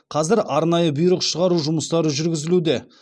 қазір арнайы бұйрық шығару жұмыстары жүргізілуде